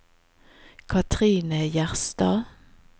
Katrine Gjerstad